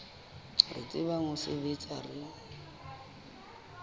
re tsebang ho sebetsa re